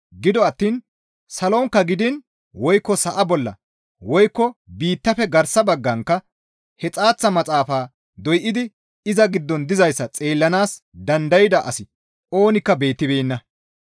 Gido attiin salonkka gidiin woykko sa7a bolla woykko biittafe garsa baggankka he xaaththa maxaafaa doydi iza giddon dizayssa xeellanaas dandayda asi oonikka beettibeenna.